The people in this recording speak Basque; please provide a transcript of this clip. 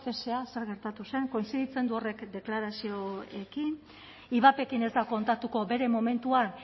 cesea zer gertatu zen kointziditzen du horrek deklarazioekin ivapekin ez dut kontatuko bere momentuan